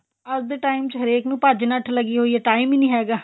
ਅੱਜ ਦੇ time ਚ ਹਰੇਕ ਨੂੰ ਭੱਜ ਨੱਠ ਲੱਗੀ ਹੋਈ ਏ time ਈ ਨੀ ਹੈਗਾ